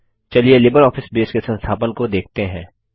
चलिए LibreOffice Base के संस्थापन को देखते हैं